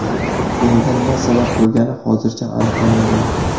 Bunga nima sabab bo‘lgani hozircha aniqlanmagan.